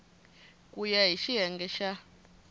ku ya hi xiyenge xa